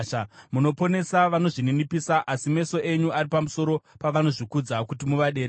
Munoponesa vanozvininipisa, asi meso enyu ari pamusoro pavanozvikudza kuti muvaderedze.